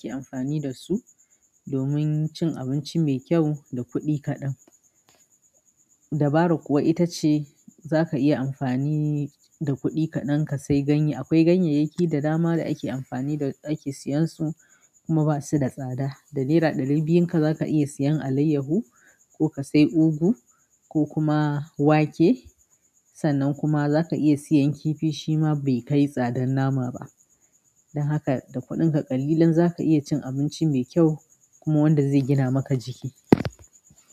Ki amfani da su domin cin abinci mai kyau da kuɗi kaɗan. Dabara kuwa ita ce za ka iya amfani da kuɗi kaɗan ka sai ganye. Akwai ganyayyaki da dama da ake amfani, da ake siyan su kuma ba su da tsada. Da naira ɗari biyun ka za ka iya siyan alayyahu ko ka sai ugu ko kuma wake. Sannan kuma za ka iya siyan kifi shima bai kai tsadar nama ba. Don haka da kuɗinka ƙalilan za ka iya cin abinci mai kyau kuma wanda zai gina maka jiki.